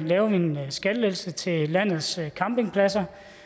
laver vi en skattelettelse til landets campingpladser